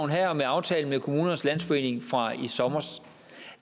her og med aftalen med kommunernes landsforening fra i sommer